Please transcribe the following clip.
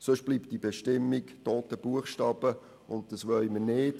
Sonst bleibt diese Bestimmung toter Buchstabe, und das wollen wir nicht.